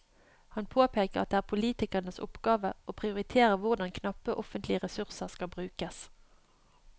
Han påpeker at det er politikernes oppgave å prioritere hvordan knappe offentlige ressurser skal brukes.